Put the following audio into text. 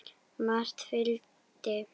Margt fylgdi.